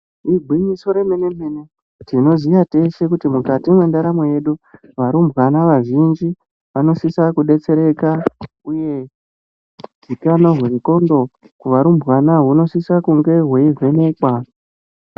Igwinyiso remene mene tinoziya teshe kuti mukati mendaramo yedu varumbwana vazhinji vanosisa kudetsereka uye zvitano zvengondlo kuvarumbwana zvinosisa kunge zveivhenekwa.